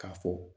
K'a fɔ